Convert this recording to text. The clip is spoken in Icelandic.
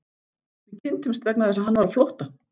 Við kynntumst vegna þess að hann var á flótta.